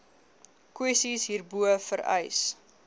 kwessies hierbo vereis